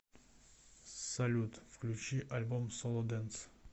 салют включи альбом соло дэнс